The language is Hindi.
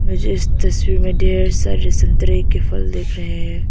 मुझे इस तस्वीर में ढेर सारे संतरे के फल दिख रहे हैं।